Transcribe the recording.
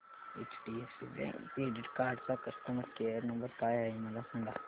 HDFC bank credit card चा customer care number काय आहे मला सांगा